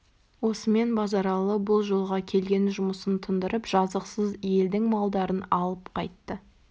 осымен базаралы бұл жолға келген жұмысын тындырып жазықсыз елдің малдарын алып қайтты